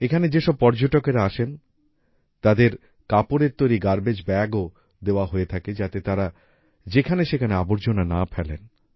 এখানে যে সব পর্যটকেরা আসেন তাদেরকে কাপড়ের তৈরী গার্বেজ bagsও দেওয়া হয়ে থাকে যাতে তারা যেখানে সেখানে আবর্জনা না ফেলেন